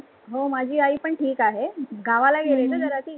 हो माझी आई पण ठिक आहे, गावाला गेली ना जरा ती.